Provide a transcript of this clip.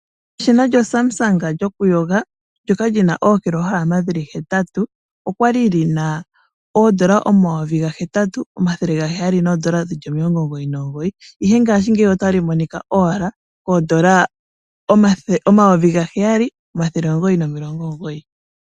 Eshina lyoSamsung lyokuyoga ndyoka li na ookilohalama hetatu olya li li na N$ 8 799, ihe ngaashingeyi otali monika owala kooN$ 7 999.